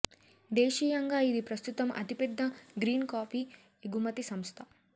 దేశీయంగా ఇది ప్రస్తుతం అతి పెద్ద గ్రీన్ కాఫీ ఎగుమతి సంస్థ